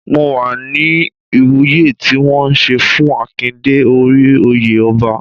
Mo wà ní Ìwúye tí wọ́n ṣe fún Akin dé orí oyè ọba.